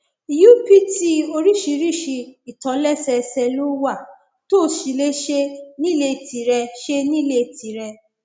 upt oríṣiríṣi ìtòlẹsẹẹsẹ ló wà tó o sì lè ṣe nílé tìrẹ ṣe nílé tìrẹ